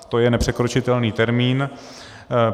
To je nepřekročitelný termín.